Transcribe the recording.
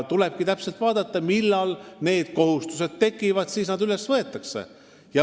Tulebki täpselt vaadata, millal need kohustused tekivad, ja siis nad üles võetakse.